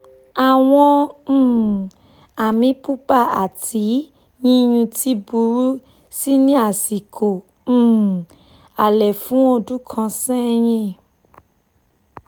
àwọn um àmì pupa ati yíyún ti burú si ní àsìkò um alẹ́ fún ọdún kan sẹ́yìn